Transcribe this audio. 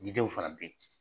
Ɲɛgɛnw fana bɛ yen